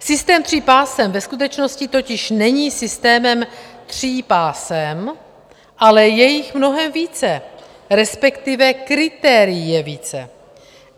Systém tří pásem ve skutečnosti totiž není systémem tří pásem, ale je jich mnohem více, respektive kritérií je více.